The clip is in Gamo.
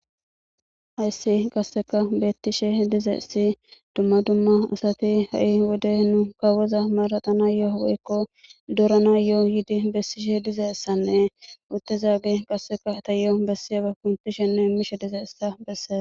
Hayssi qasseka beettishe dizayssi dumma dumma asati ha'i wode nu kawoza maraxanayo woykko dooranayo yiidi bessishe dizayssanne uttidagey qasseka ta yaan bessizaga kunththishenne nangishe dizayssa bessees.